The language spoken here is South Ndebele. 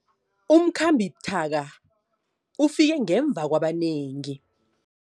Umkhambi buthaka ufike ngemva kwabanengi.